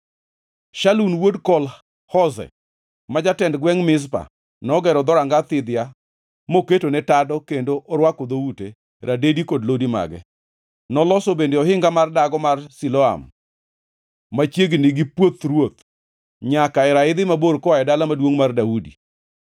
Shalun wuod Kol-Hoze, ma jatend gwengʼ Mizpa, nogero Dhoranga Thidhia moketone tado kendo orwako dhoute, radedi kod lodi mage. Noloso bende ohinga mar Dago mar Siloam, machiegni gi Puoth Ruoth, nyaka e raidhi mabor koa Dala Maduongʼ mar Daudi.